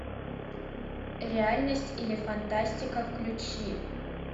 реальность или фантастика включи